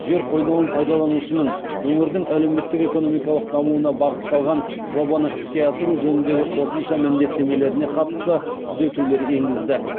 жер қойнауын пайдаланушының өңірдің әлеуметтік экономикалық дамуына бағытталған жобаны іске асыру жөніндегі қосымша міндеттемелеріне қатысты түзетулер енгізді